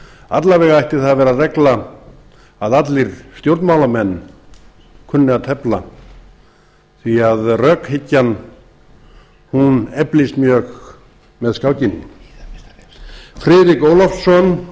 alla vega ætti það að vera regla að allir stjórnmálamenn kynnu að tefla því að rökhyggjan hún eflist mjög með skákinni friðrik ólafsson